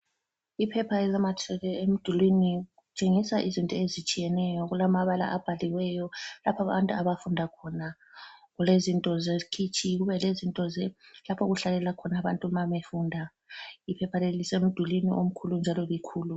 Iphepha elinamathiselwe emdulwini litshengisa izinto ezitshiyeneyo kulamabala abhaliweyo lapha abantu abafunda khona, kulezinto zekhitshi kube lezinto lapho okuhlalela khona abantu ma befunda, iphepha leli lisemdulini omkhulu njalo likhulu.